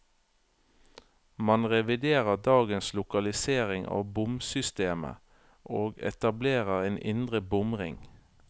Man reviderer dagens lokalisering av bomsystemet, og etablerer en indre bomring.